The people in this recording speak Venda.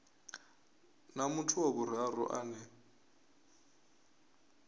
na muthu wa vhuraru ane